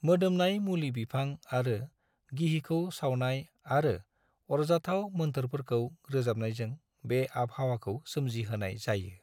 मोदोमनाय मुलि बिफां आरो गिहिखौ सावनाय आरो आरजाथाव मोन्थोरफोरखौ रोजाबनायजों बे आबहावाखौ सोमजिहोनाय जायो।